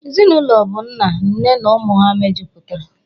Ezinụlọ bụ nna, nne na ụmụ ha mejupụtara